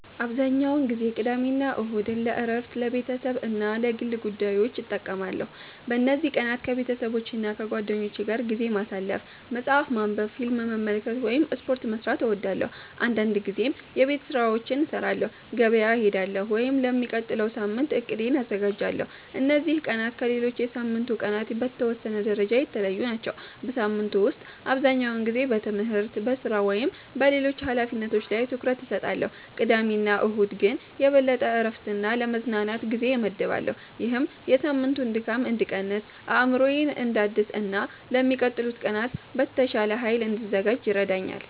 **"አብዛኛውን ጊዜ ቅዳሜና እሁድን ለእረፍት፣ ለቤተሰብ እና ለግል ጉዳዮች እጠቀማለሁ። በእነዚህ ቀናት ከቤተሰቦቼና ከጓደኞቼ ጋር ጊዜ ማሳለፍ፣ መጽሐፍ ማንበብ፣ ፊልም መመልከት ወይም ስፖርት መስራት እወዳለሁ። አንዳንድ ጊዜም የቤት ስራዎችን እሰራለሁ፣ ገበያ እሄዳለሁ ወይም ለሚቀጥለው ሳምንት እቅዴን አዘጋጃለሁ። እነዚህ ቀናት ከሌሎች የሳምንቱ ቀናት በተወሰነ ደረጃ የተለዩ ናቸው። በሳምንቱ ውስጥ አብዛኛውን ጊዜ በትምህርት፣ በሥራ ወይም በሌሎች ኃላፊነቶች ላይ ትኩረት እሰጣለሁ፣ ቅዳሜና እሁድ ግን የበለጠ ለእረፍትና ለመዝናናት ጊዜ እመድባለሁ። ይህም የሳምንቱን ድካም እንድቀንስ፣ አእምሮዬን እንዳድስ እና ለሚቀጥሉት ቀናት በተሻለ ኃይል እንድዘጋጅ ይረዳኛል።"